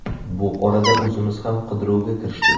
Bu orada o‘zimiz ham qidiruvga kirishdik.